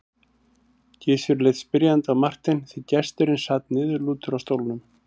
Gizur leit spyrjandi á Martein því gesturinn sat niðurlútur á stólnum.